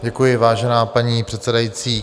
Děkuji, vážená paní předsedající.